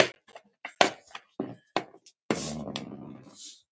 Merkur og gegn.